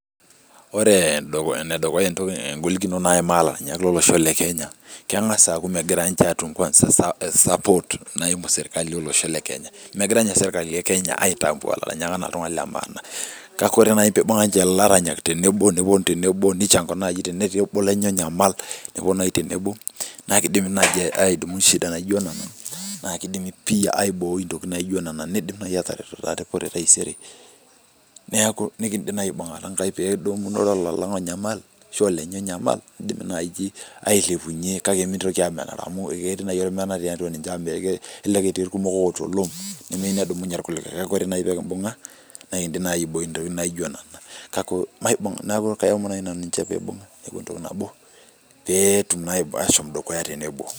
ore enedukuya egolikinoto naimaa lairanyak lolosho lekenya naa, naa sapot megira atum megira niche serikali ekenya aisapot enaa iltunganak lemaana, naa kidimi pii aiboi intokitin naijo nena, neeku ekidim naaji aibungata inkaik pee kidumu ilo lang onyamal kake ekidim ailepunyie nikindoki amenaa amu kelelek etii ilkulie loota olom neeku kajoki naaji naanu pee kibunga pee kitum asho dukuya.